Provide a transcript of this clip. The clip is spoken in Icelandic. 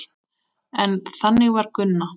En þannig var Gunna.